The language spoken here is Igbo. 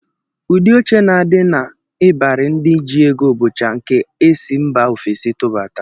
Ụdị oche na-adị n'ịbarị ndị ji ego bụcha nke e si mba ofesi atụbata